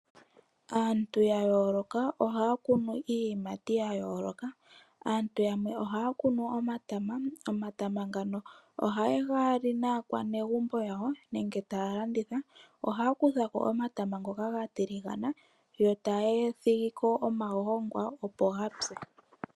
Aantu ya yooloka ohaya kunu iiyimati ya yooloka. Aantu yamwe ohaya kunu omatama, omatama ngano ohaye ga li naakwanegumbo yawo nenge taya landitha. Ohaya kutha ko omatama ngoka ga tiligana yo taya thigi ko omagongwa opo ga pye.